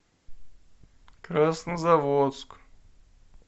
краснозаводск